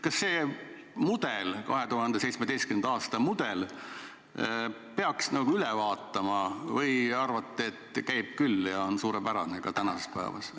Kas selle mudeli, 2017. aasta mudeli peaks üle vaatama või te arvate, et käib küll ja see on suurepärane ka tänasel päeval?